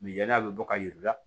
Ni yan'a bɛ bɔ ka yir'u la